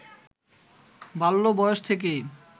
বাল্য বয়স থেকেই